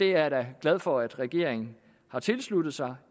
er da glad for at regeringen har tilsluttet sig